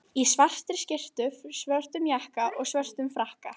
Í svartri skyrtu, svörtum jakka og svörtum frakka.